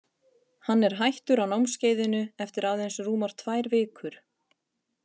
Hann er hættur á námskeiðinu eftir að aðeins rúmar tvær vikur.